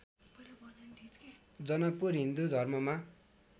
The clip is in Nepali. जनकपुर हिन्दू धर्ममा